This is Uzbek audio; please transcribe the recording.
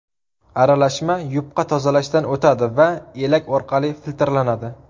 Aralashma yupqa tozalashdan o‘tadi va elak orqali filtrlanadi.